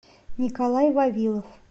николай вавилов